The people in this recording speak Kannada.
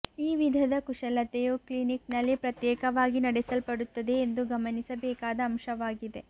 ಈ ವಿಧದ ಕುಶಲತೆಯು ಕ್ಲಿನಿಕ್ನಲ್ಲಿ ಪ್ರತ್ಯೇಕವಾಗಿ ನಡೆಸಲ್ಪಡುತ್ತಿದೆ ಎಂದು ಗಮನಿಸಬೇಕಾದ ಅಂಶವಾಗಿದೆ